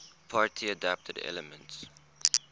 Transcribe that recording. party adapted elements